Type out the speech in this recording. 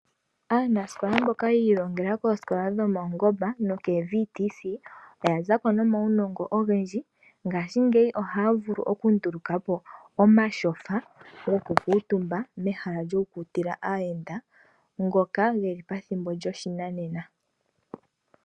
Aanasikol mboka yi ilongela koosikola dhopaungomba oya zako nomaunongo ogendji. Ngaashingeyi ohaya vulu okunduluka po omatyofa goku kuutumba mehala lyoku kundila aayenda ngoka geli methimbo lyoshinanena.